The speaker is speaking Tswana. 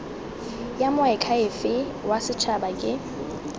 ya moakhaefe wa setshaba ke